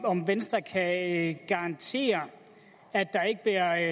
om venstre kan garantere at der